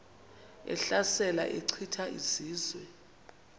ehlasela echitha izizwe